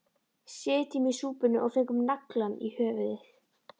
Sitjum í súpunni og fengum naglann í höfuðið